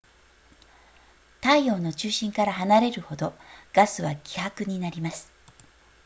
太陽の中心から離れるほどガスは希薄になります